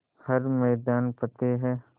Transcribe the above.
हर मैदान फ़तेह